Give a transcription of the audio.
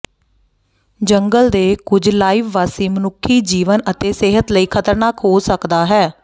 ਜੰਗਲ ਦੇ ਕੁਝ ਲਾਈਵ ਵਾਸੀ ਮਨੁੱਖੀ ਜੀਵਨ ਅਤੇ ਸਿਹਤ ਲਈ ਖ਼ਤਰਨਾਕ ਹੋ ਸਕਦਾ ਹੈ